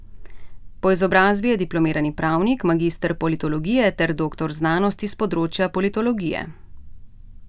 Po izobrazbi je diplomirani pravnik, magister politologije ter doktor znanosti s področja politologije.